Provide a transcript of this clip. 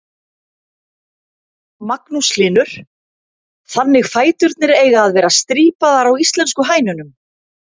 Magnús Hlynur: Þannig fæturnir eiga að vera strípaðar á íslensku hænunum?